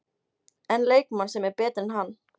En leikmann sem er betri en hann?